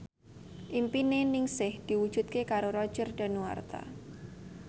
impine Ningsih diwujudke karo Roger Danuarta